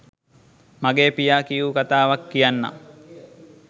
මගේ පියා කියූ කතාවක් කියන්නම්.